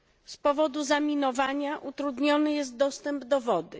Z powodu zaminowania utrudniony jest dostęp do wody.